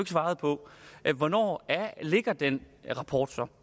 svarede på hvornår ligger den rapport så